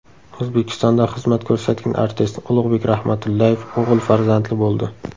O‘zbekistonda xizmat ko‘rsatgan artist Ulug‘bek Rahmatullayev o‘g‘il farzandli bo‘ldi.